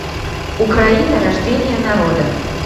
украина рождение народа